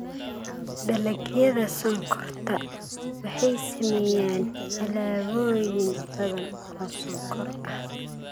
Dalagyada sonkorta waxay sameeyaan alaabooyin badan oo sonkor ah.